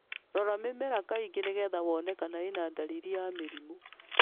Rora mĩmera kaingĩ nĩgetha wone kana ĩna dalili ya mĩrimũ.